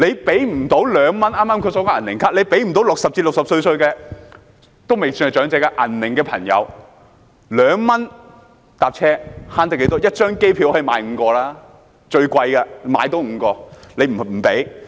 剛才提及"銀齡卡"，政府無法為60至64歲的人士——未算長者的"銀齡"朋友——提供2元乘車優惠，這樣可以節省多少呢？